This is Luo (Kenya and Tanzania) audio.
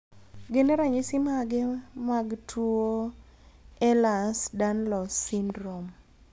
Gin ranyisis mage mag tuo Ehlers Danlos syndrome?